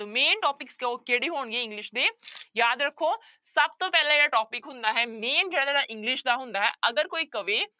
Main topics ਦੋ ਕਿਹੜੇ ਹੋਣਗੇ english ਦੇ ਯਾਦ ਰੱਖੋ ਸਭ ਤੋਂ ਪਹਿਲਾ ਜਿਹੜਾ topic ਹੁੰਦਾ ਹੈ main ਜਿਹੜਾ english ਦਾ ਹੁੰਦਾ ਹੈ ਅਗਰ ਕੋਈ ਕਵੇ